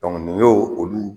Dɔnku nin y'o olu